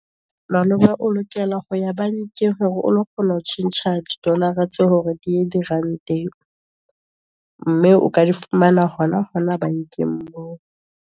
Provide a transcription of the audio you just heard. Malome o lokela ho ya bankeng, hore o lo kgona ho tjhentjha didolara tseo ho re di ye diranteng. Mme o ka di fumana hona bankeng moo.